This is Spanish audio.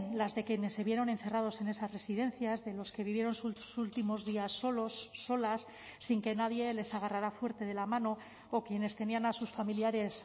las de quienes se vieron encerrados en esas residencias de los que vivieron sus últimos días solos solas sin que nadie les agarrara fuerte de la mano o quienes tenían a sus familiares